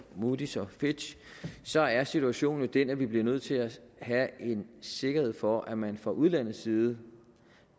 moodys og fitch så er situationen jo den at vi bliver nødt til at have en sikkerhed for at man fra udlandets side